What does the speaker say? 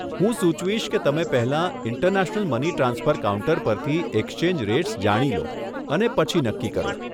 હું સુચવીશ કે તમે પહેલાં ઇન્ટરનેશનલ મની ટ્રાન્સફર કાઉન્ટર પરથી એક્સચેંજ રેટ્સ જાણી લો અને પછી નક્કી કરો.